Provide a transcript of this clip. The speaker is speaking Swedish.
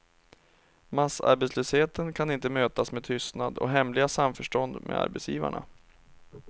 Massarbetslösheten kan inte mötas med tystnad och hemliga samförstånd med arbetsgivarna.